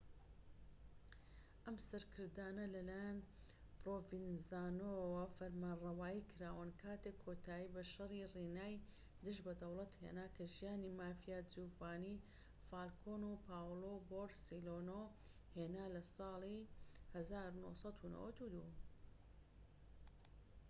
ئەم سەرکردانە لە لایەن پرۆڤینزانۆوە فەرمانڕەوایی کراون کاتێک کۆتایی بە شەڕی ڕینای دژ بە دەوڵەت هێنا کە ژیانی مافیا جیوڤانی فالکۆن و پاولۆ بۆرسێلینۆ هێنا لە ساڵی 1992‏.‎